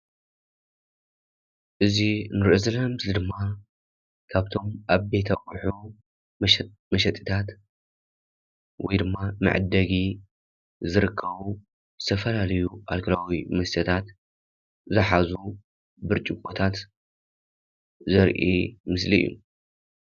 እዚ ንሪኦ ዘለና ምስሊ ድማ ካብቶም ዓበይቲ አቁሑ መሽጢ መሸጥታት ወይ ድማ መዐደጊ ዝርከቡ ዝተፈላለዩ አልኮላዊ መስተታት ዘሓዙ ብርጭቆታት ዘሪኢ ምስሊ እዩ፡፡